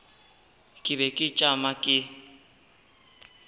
ke be ke tšama ke